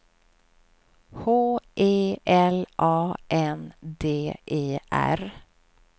H E L A N D E R